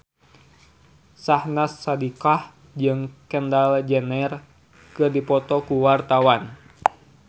Syahnaz Sadiqah jeung Kendall Jenner keur dipoto ku wartawan